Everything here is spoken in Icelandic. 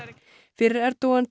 fyrir Erdogan